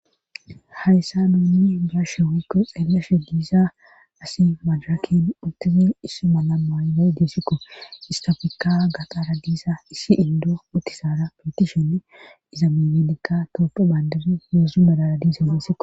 hayssa nuunni bayashe woykko xeeleashe diisa asi majaken uttizin issu ma la mayley diesikko istafeka gaqaara diisa issi indo uttisaara petishenne iza mimelikka totu bandari yezzu balara diisa miesikko